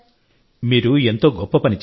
మీరు ఎంతో గొప్ప పని చేశారు